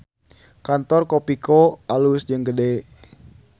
Kantor Kopiko alus jeung gede